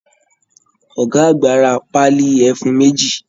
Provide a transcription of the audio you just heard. Ọ̀gá àgbà ra Pálí ẹfun méjì